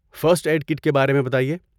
First aid kit کے بارے میں بتائیے؟